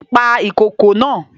Pa ìkokò naa!